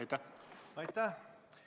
Aitäh!